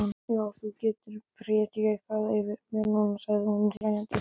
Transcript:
Já, þú getur prédikað yfir mér núna, sagði hún hlæjandi.